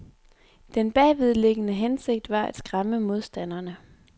Den bagvedliggende hensigt var at skræmme modstanderne.